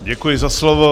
Děkuji za slovo.